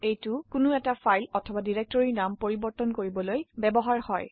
এটা কোনো ফাইল অথবা ডিৰেক্টৰিৰ নাম পৰিবৰ্তন কৰিবলৈ ব্যবহৃত হয়